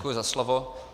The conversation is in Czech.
Děkuji za slovo.